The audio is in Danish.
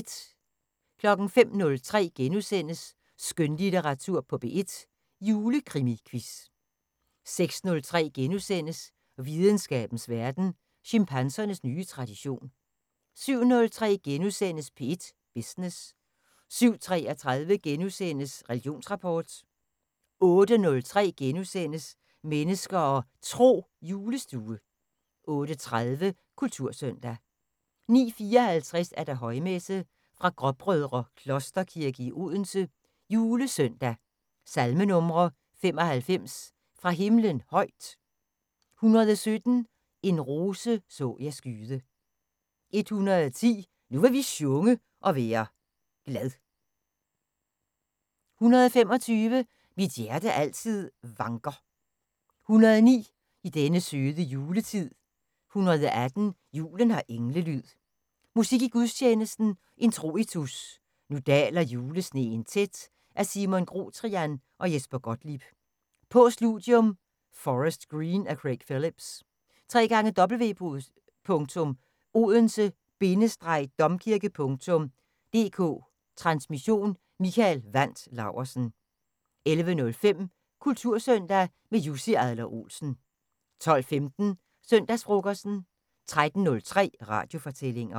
05:03: Skønlitteratur på P1: Julekrimiquiz * 06:03: Videnskabens Verden: Chimpansernes nye tradition * 07:03: P1 Business * 07:33: Religionsrapport * 08:03: Mennesker og Tro: Julestue * 08:30: Kultursøndag 09:54: Højmesse - fra Gråbrødre Klosterkirke, Odense. Julesøndag. Salmenumre: 95: "Fra Himlen højt". 117: "En rose så jeg skyde". 110: "Nu vil vi sjunge og være glad". 125: "Mit hjerte altid vanker". 109: "I denne søde juletid". 118: " Julen har englelyd". Musik i gudstjenesten: Introitus: "Nu daler julesneen tæt" af Simon Grotrian og Jesper Gottlieb. Postludium:"Forest Green" af Craig Phillips. www.odense-domkirke.dk Transmission: Mikael Wandt Laursen. 11:05: Kultursøndag - med Jussi Adler Olsen 12:15: Søndagsfrokosten 13:03: Radiofortællinger